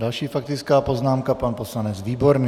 Další faktická poznámka - pan poslanec Výborný.